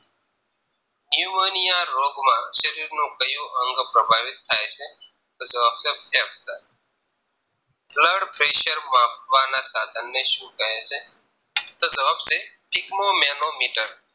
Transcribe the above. pneumonia રોગમાં શરીરનું ક્યુ અંગ પ્રભાવિત થાય છે તો જવાબ છે ફેફસા Blood pressure માપવા ને સાધનને શું કહે છે તો જવાબ છે Sigma Manometer